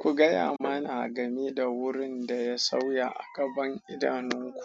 Ku gaya mana game da wurin da ya sauya a ƙaban idanunku.